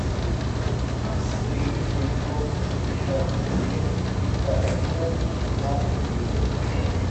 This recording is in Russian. три девятьсот шестьдесят четыре триста одиннадцать пятнадцать десять